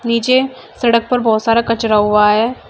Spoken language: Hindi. नीचे सड़क पर बहुत सारा कचरा हुआ है।